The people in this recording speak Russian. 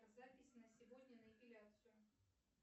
запись на сегодня на эпиляцию